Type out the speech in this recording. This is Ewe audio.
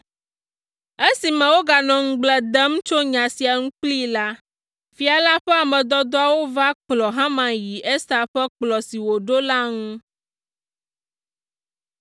Esime woganɔ ŋugble dem tso nya sia ŋu kplii la, fia la ƒe ame dɔdɔawo va kplɔ Haman yi Ester ƒe kplɔ̃ si wòɖo la ŋu.